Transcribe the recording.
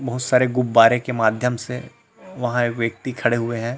बहुत सारे गुब्बारे के माध्यम से वहां एक व्यक्ति खड़े हुए हैं।